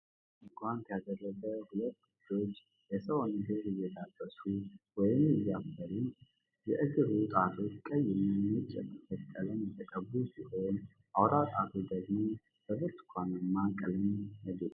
ነጭ የላስቲክ ጓንት ያደረጉ ሁለት እጆች የሰውን እግር እየዳበሱ ወይም እያሰሩ ነው:: የእግሩ ጣቶች ቀይ እና ነጭ የጥፍር ቀለም የተቀቡ ሲሆን፣ አውራ ጣቱ ደግሞ በብርቱካናማ ቀለም ያጌጠ ነው::